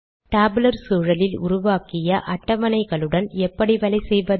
tabular சூழலில் உருவாக்கிய அட்டவணைகளுடன் எப்படி வேலைசெய்வது